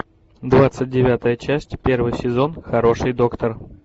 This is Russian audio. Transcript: двадцать девятая часть первый сезон хороший доктор